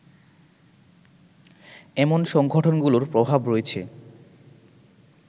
এমন সংগঠনগুলোর প্রভাব রয়েছে